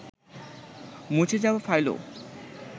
মুছে যাওয়া ফাইলও